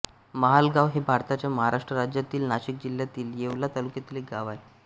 महालगाव हे भारताच्या महाराष्ट्र राज्यातील नाशिक जिल्ह्यातील येवला तालुक्यातील एक गाव आहे